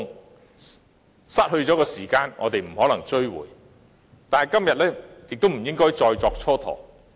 我們不能追回失去了的時間，但今天亦不應該再作蹉跎。